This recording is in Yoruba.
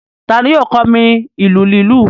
Ta ni yóò kọ́ mi ìlù lílù?